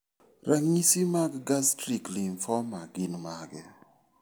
Ranyisi mag Gastric lymphoma gin mage?